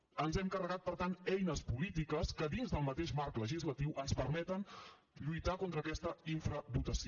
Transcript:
ens hem carregat per tant eines polítiques que dins del mateix marc legislatiu ens permeten lluitar contra aquesta infradotació